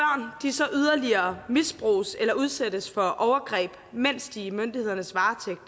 så yderligere misbruges eller udsættes for overgreb mens de er i myndighedernes varetægt